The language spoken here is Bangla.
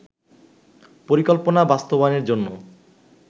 পরিকল্পনা বাস্তবায়নের জন্য